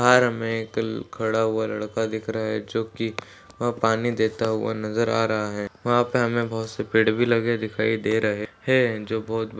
बाहर मे खड़ा हुआ लड़का दिख रहा है जो की वहाँ पानी देता हुआ नज़र आ रहा है। वहाँ पे हमे बहुत से पेड़ भी लगे दिखाई दे रहे है जो बहुत--